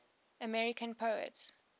american poets